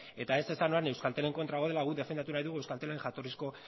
eta ez esan orain euskaltelen kontra gaudela guk defendatu nahi dugu euskaltelen jatorrizko